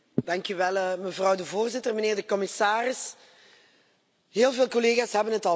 Mevrouw de voorzitter, mijnheer de commissaris, heel veel collega's hebben het al gezegd.